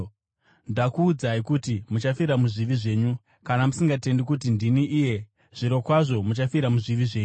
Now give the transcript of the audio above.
Ndakuudzai kuti muchafira muzvivi zvenyu; kana musingatendi kuti ndini iye, zvirokwazvo muchafira muzvivi zvenyu.”